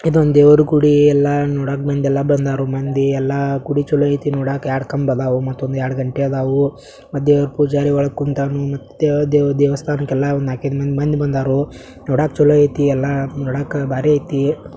ಇದು ಒಂದು ದೇವರಗುಡಿ ಎಲ್ಲ ನೋಡಕೆ ಮಂದಿ ಎಲ್ಲ ಬಂದರು ಮಂದಿ ಎಲ್ಲ ಗುಡಿ ಚಲೋ ಆಯ್ತಿ ನೋಡಾಕ ಎರಡು ಕಂಬ ಇದಾವು ಮತ್ತೊಂದ್ ಎರಡು ಗಂಟೆ ಆದವು ಮತ್ತೆ ದೇವರ ಪೂಜಾರಿ ಒಳಗೆ ಕೂತನು ದೇವರು ದೇವಸ್ಥಾನಕ್ಕೆ ಎಲ್ಲ ನಾಲಕ್ಕು ಐದು ಮಂದಿ ಬಂದರೋ ನೋಡಕ್ಕೆ ಚಲೋ ಆಯ್ತಿ ಎಲ್ಲ ನೋಡಕ್ ಭಾರಿ ಐತಿ .